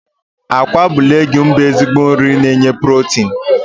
Agwa bụ leguumu bụ ezigbo nri na enye pulotinu.